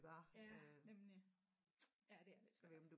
Ja nemlig ja det er lidt svært